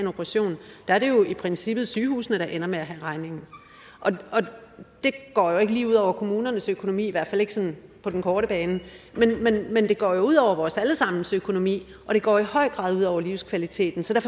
operation er det jo i princippet sygehusene der ender med at have regningen og det går jo ikke lige ud over kommunernes økonomi i hvert fald ikke sådan på den korte bane men det går jo ud over vores alle sammens økonomi og det går i høj grad ud over livskvaliteten så